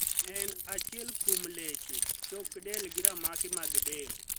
En achiel kuom leche, chok del gi ramaki mag del.